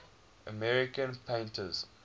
american painters